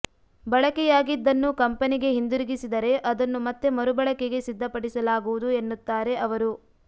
ಬಳಕೆಯಾಗಿದ್ದನ್ನು ಕಂಪೆನಿಗೆ ಹಿಂದಿರುಗಿಸಿದರೆ ಅದನ್ನು ಮತ್ತೆ ಮರುಬಳಕೆಗೆ ಸಿದ್ಧಪಡಿಸಲಾಗುವುದು ಎನ್ನುತ್ತಾರೆ ಅವರು